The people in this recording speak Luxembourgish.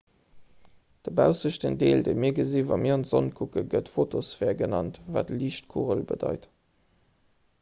de baussechten deel dee mir gesinn wa mir an d'sonn kucken gëtt fotosphär genannt wat liichtkugel bedeit